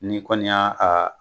Ni kɔni y'a